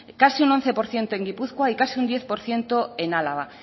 casi un once por ciento en gipuzkoa y casi un diez por ciento en álava